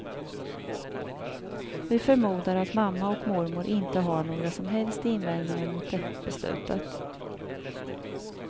Vi förmodar att mamma och mormor inte har några som helst invändningar mot det beslutet.